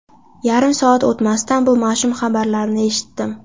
Yarim soat o‘tmasdan bu mash’um xabarni eshitdim.